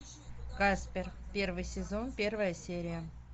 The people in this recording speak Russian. каспер первый сезон первая серия